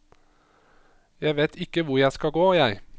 Jeg vet ikke hvor jeg skal gå, jeg.